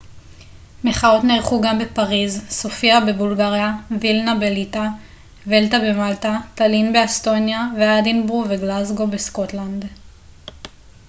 מחאות נערכו גם בפריז סופיה בבולגריה וילנה בליטא ולטה במלטה טאלין באסטוניה ואדינבורו וגלזגו בסקוטלנד